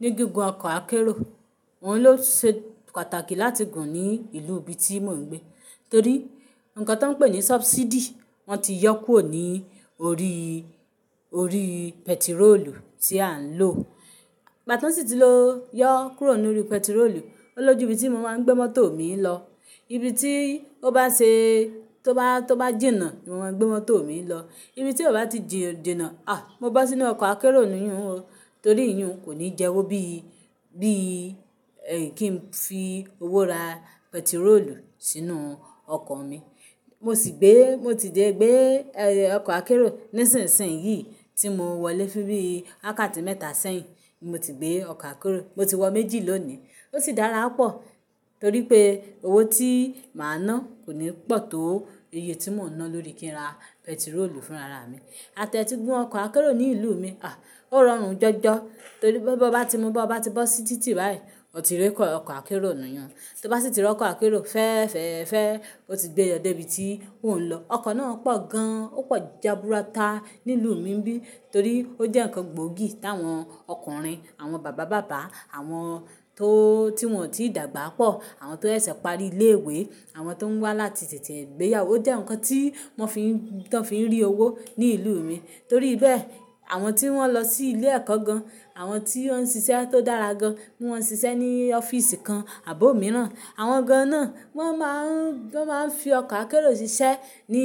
Ní gígùn ọkọ̀ akérò, ọ́un ló ṣe pàtàkì láti gùn ní ìlú ibi tí mò ń gbé. Torí nǹkan tó ń pè ní subsidy wọ́n ti yọ́ kúrò ní orí, orí pẹtirólù tí à ń lò. Gbà tọ́n sì ti lo yọ́ kúrò nínú pẹtirólù, ó lójú ibi tí mo máa ń gbé mọ́tò mi lọ. Ibi tí ó bá ṣe tó bá, tó bá jìnnà ni mo máa ń gbé mọ́tò mi lọ. Ibi tí ó bá ti jìnà, à! Mo bo sínú ọkọ̀ akérò nìyun o. Torí ìyun kò ní jẹwó bí, bí kí n fi owó ra pẹtirólù sínú ọkọ̀ mi. Mo sì gbé, mo ti jẹ́ gbé ọkọ̀ akérò nísinsìnyí tí mo wọlé bí i wàkáàtì mẹ́ta sẹ́yìn ni mo ti gbé ọkọ̀ akérò. Mo ti wọ ọkọ̀ méjì lónìí. Ó sì dára pọ̀ torí pé owó tí màá ná kò ní pọ̀ tó iye tí mò ń ná lórí kí n ra pẹtirólù fún ara mi. Àtẹ ti gún ọkọ̀ akérò ní ìlú mi, à! Ó rọrùn jọjọ torí bí mo bá ti, mo bá ti bọ́ sí títì báyìí, mo ti rí ọkọ̀ akérò nìyun. Tó bá sì ti r'ọkọ̀ akérò fẹ́ẹ́feẹ́fẹ̀ẹ́, ó ti gbé e lọ dé ibi tí ó ń lọ. Ọkọ̀ náà pọ̀ gan-an, ó pọ̀ jaburata ní ìlú mi n bíì torí ó jẹ́ ǹkan gbóògì t'awọn ọkùnrin, àwọn bàbá bàbá, àwọn tó, tí wọ́n ò tí dàgbà pọ̀, àwọn tó sẹ̀ṣẹ̀ pari ilé ìwé, àwọn tó ń wá láti tètè gbéyàwó o jẹ́ ǹkan tí wọ́n fi ń, tán fi ń rí owó ní ìlúù mi. Torí bẹ́ẹ̀, àwọn tí wọ́n lọ sí ilé ẹ̀kọ́ gan-an, àwọn tí wọ́n ń ṣiṣẹ́ tó dára gan-an, bí wọ́n ń ṣiṣẹ́ ní ọ́fíìsì kan àbò mìíràn, àwọn gan-an náà wọ́n máa ń, wọ́n máa ń fi ọkọ̀ akérò ṣiṣẹ́ ní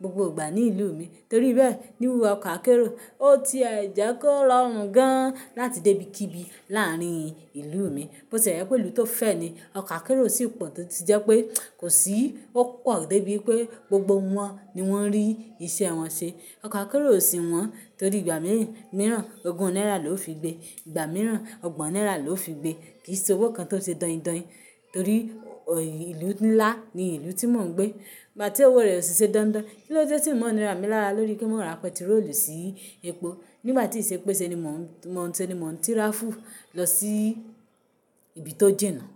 gbogbo ìgbà ní ìlúù mi. Torí bẹ́ẹ̀, níwu ọkọ̀ akérò ó ti e jẹ́ kó rọrùn gan-an láti débi kíbi láàárín ìlúù mi. Bo se je pé ìlú tó fẹ́ ni, ọkọ̀ akérò sì pọ̀ tó ti jẹ́ pé kò sí, ó pọ̀ débi pé gbogbo wọn ni wọ́n rí iṣẹ́ wọn ṣe. Ọkọ̀ akérò sì wọ́n torí ìgbà mìíràn, mìíràn ogún náírà ló fi gbé, ìgbà mìíràn ọgbọ̀n náírà ló fi gbé. Kì í ṣe owó kan tó ṣe dọ́ndọ̀n torí ìlú nílá ni ìlú tí mò ń gbé. Bà tí owó rẹ̀ ò ṣe dandan, kí ló dé tí wọn ò ní ra mi lára lórí kí mò ra pẹtirólù sí epo nígbà tí ṣe peṣe ni mò ń, mo ń ṣe ni mò ń tíráfù lọ sí ibi tó jìnnà.